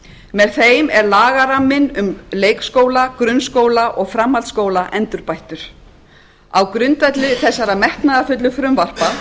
með þeim er lagaramminn um leikskóla grunnskóla og framhaldsskóla endurbættur á grundvelli þessara metnaðarfullu frumvarpa